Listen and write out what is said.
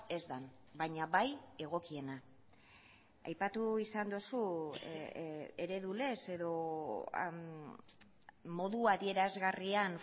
ez den baina bai egokiena aipatu izan duzu eredulez edo modu adierazgarrian